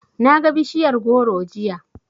Naga bishiyar goro jiya.